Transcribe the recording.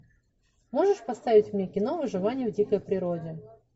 можешь поставить мне кино выживание в дикой природе